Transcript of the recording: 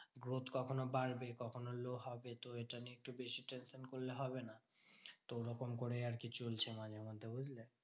Growth কখনও বাড়বে কখনও low হবে তো এটা নিয়ে একটু বেশি tension করলে হবে না। তো ওরকম করেই আরকি চলছে মাঝে মধ্যে বুঝলে?